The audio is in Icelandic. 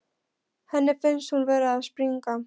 Henni finnst hún vera að springa.